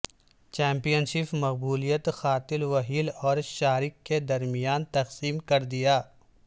champion شپ مقبولیت قاتل whale اور شارک کے درمیان تقسیم کر دیا